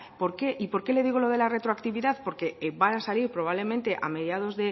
y por qué le digo lo de la retroactividad porque van a salir probablemente